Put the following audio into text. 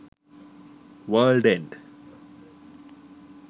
world end